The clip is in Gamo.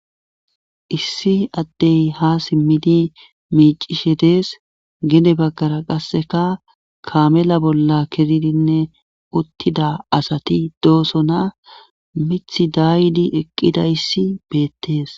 Issi addey ha simmidi miicishe dees gene baggara qasseka kaamela bolla kezidinne uttida asati doosona mith daydi eqqidayssi beettees.